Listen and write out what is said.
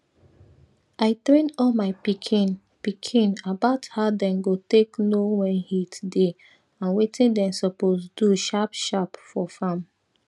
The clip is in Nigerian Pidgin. i train all my pikin pikin about how dem go take know when heat dey and wetin dem suppose do sharp sharp for farm